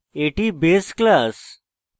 এটি base class